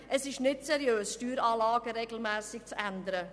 Es ist nicht seriös, Steueranlagen regelmässig zu ändern.